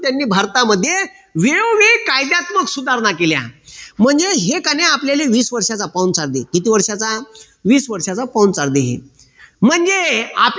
त्यांनी भारतामध्ये वेळोवेळी कायद्यात्मक सुधारणा केल्या म्हणजे हे काय ने आपल्याला वीस वर्षाचा पाहुणचार देत. किती वर्षाचा? वीस वर्षाचा पाहुणचार देत. म्हणजे